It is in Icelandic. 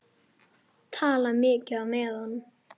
Tala mikið á meðan.